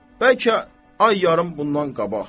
Bəlkə ay yarım bundan qabaq.